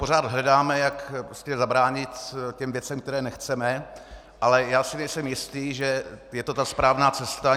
Pořád hledáme, jak zabránit těm věcem, které nechceme, ale já si nejsem jistý, že je to ta správná cesta.